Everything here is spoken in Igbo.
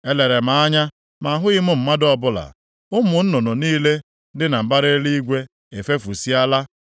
Elere m anya ma ahụghị mmadụ ọbụla, ụmụ nnụnụ niile dị na mbara eluigwe efefusịala.